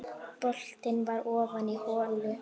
Boltinn var ofan í holu.